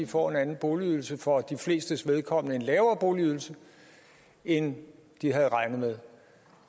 får en anden boligydelse for de flestes vedkommende en lavere boligydelse end de havde regnet med